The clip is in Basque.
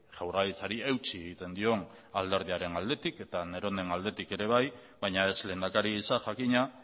jaurlaritzari eutsi egiten dion alderdiaren aldetik eta neronen aldetik ere bai baina ez lehendakari gisa jakina